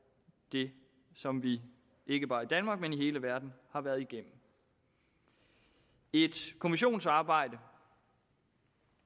det som vi ikke bare i danmark men i hele verden har været igennem et kommissionsarbejde